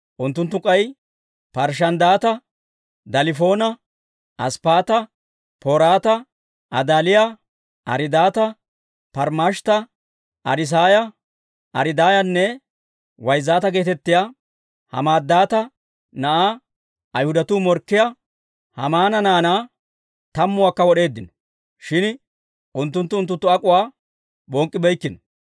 Unttunttu k'ay Parshshanddaata, Dalifoona, Asppaata, Poraata, Adaaliyaa, Ariidaata, Parmmashtta, Ariisaaya, Ariidaayanne Wayzzaata geetettiyaa, Hamaddaata na'aa Ayhudatuu morkkiyaa Haamaana naanaa tammuwaakka wod'eeddino. Shin unttunttu unttunttu ak'uwaa bonk'k'ibeykkino.